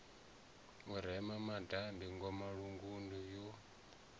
re na madambi ngomalungundu yo